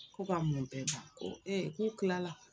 Ko ka mun bɛɛ ban ko ee k'u kilala